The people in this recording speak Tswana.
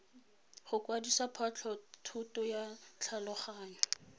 go kwadisa phatlhothoto ya tlhaloganyo